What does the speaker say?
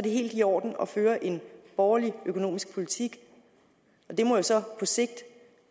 det helt i orden at føre en borgerlig økonomisk politik det må jo så på sigt